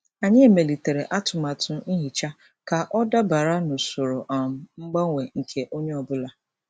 Anyị emelitere atụmatụ nhicha ka ọ dabara n'usoro um mgbanwe nke onye ọ bụla.